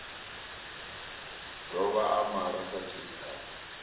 dovha a malwa sa tshilikadzi